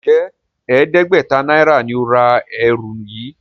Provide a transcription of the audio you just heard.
Njé ẹdẹgbẹta náírà ní o rà ẹrù yí?